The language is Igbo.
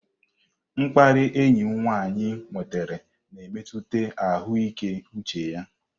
Mkparị enyi m nwanyị nwetara na-emetụta ahụike uche ya.